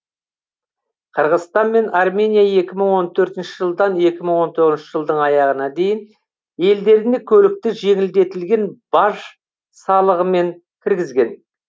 қырғызстан мен армения екі мың он төртінші жылдан екі мың он тоғызыншы жылдың аяғына дейін елдеріне көлікті жеңілдетілген баж салығымен кіргізген